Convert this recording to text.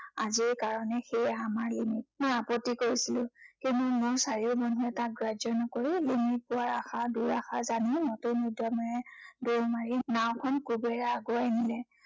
আজিৰ কাৰনে সেয়েই আমাৰ ৰেণু। মই আপত্তি কৰিছিলো, কিন্তু মোৰ চাৰিও মানুহে তাক গ্ৰাহ্য় নকৰি ৰেণুক পোৱাৰ আশা দুৰাষা জানিও নতুন উদ্য়মেৰে দৌৰ মাৰি নাওঁখন কোবেৰে আগুৱাই নিলে।